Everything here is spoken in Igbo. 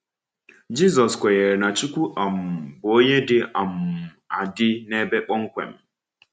Jizọs kwenyere na Chukwu um bụ Onye dị um adị n’ebe kpọmkwem.